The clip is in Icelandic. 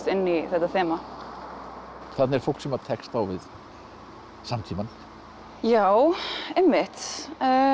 inn í þetta þema þarna er fólk sem tekst á við samtímann já einmitt